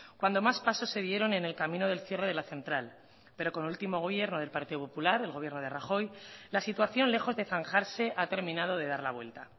cuando más pasos se dieron en el camino del cierre de la central pero con el último gobierno del partido popular el gobierno de rajoy la situación lejos de zanjarse ha terminado de dar la vuelta